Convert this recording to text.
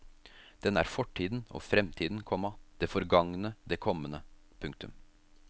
Den er fortiden og fremtiden, komma det forgangne og det kommende. punktum